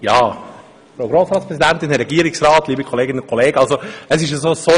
Es war wohl eher nur ein «Ahgriffli», aber ich wollte gern nochmals etwas sagen.